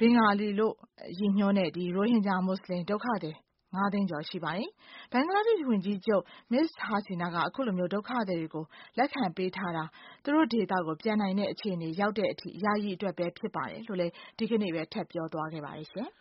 ဘင်င်္ဂါလီလို့ ရည်ညွှန်းတဲ့ ရိုဟင်ဂျာ မွတ်ဆလင် ဒုက္ခသည် ၅ သိန်းကျော်ရှိပါတယ်။ Bangladesh ဝန်ကြီးချုပ် Ms. Hasina က အခုလို ဒုက္ခသည်တွေကို လက်ခံပေးထား တာ သူတို့ဒေသကို ပြန်နိုင်တဲ့ အခြေအနေရောက်တဲ့အထိ ယာယီအတွက်ဖြစ်တယ်လို့ ဒီကနေ့ပဲ ထပ်ပြောသွားပါတယ်ရှင်